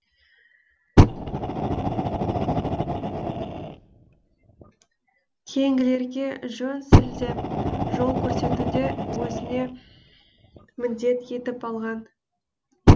кейінгілерге жөн сілтеп жол көрсетуді өзіне міндет етіп алған